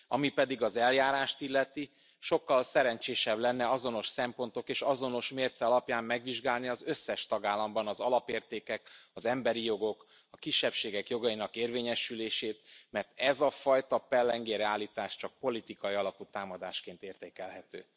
Ami pedig az eljárást illeti, sokkal szerencsésebb lenne azonos szempontok és azonos mérce alapján megvizsgálni az összes tagállamban az alapértékek, az emberi jogok, a kisebbségek jogainak érvényesülését, mert ez a fajta pellengérre állítás csak politikai alapú támadásként értékelhető.